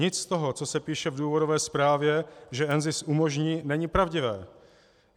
Nic z toho, co se píše v důvodové zprávě, že NZIS umožní, není pravdivé.